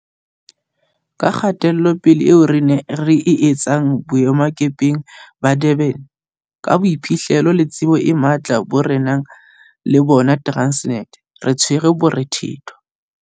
Ka kgatelopele eo re e etsang boemakepeng ba Durban, ka boiphihlelo le tsebo e matla bo re nang le bona Transnet, re tshwere morethetho.